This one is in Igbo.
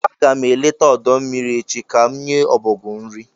Aga m eleta ọdọ mmiri echi ka m nye ọbọgwụ nrị